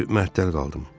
Düzü, məəttəl qaldım.